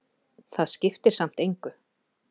Það skiptir samt engu,